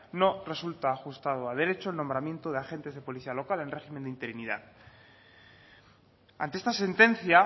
no resulta ajustado a derecho el nombramiento de agentes de policía local en régimen de interinidad ante esta sentencia